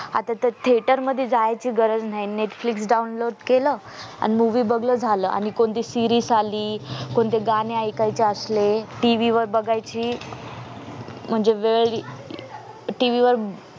आता ते theatre मध्ये जायचं गरज नाय netflix download केल आणि movie बगन झालं आणि कोणती series आली कोणते गाणे ऐकायचे असले TV वर बागायची म्हणजे वेळ TV वर